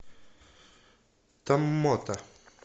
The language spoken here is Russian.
томмота